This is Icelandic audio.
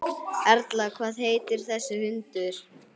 Erla: Hvað heitir þessi hundur?